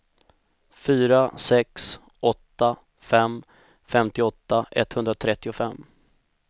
fyra sex åtta fem femtioåtta etthundratrettiofem